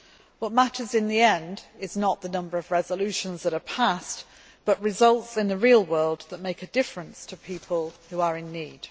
What matters in the end is not the number of resolutions that are passed, but results in the real world that make a difference to people who are in need.